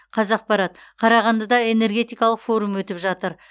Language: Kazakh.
қазақпарат қарағандыда энергетикалық форум өтіп жатыр